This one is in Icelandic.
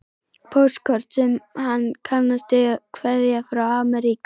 Póstkort sem hann kannast við, kveðja frá Ameríku.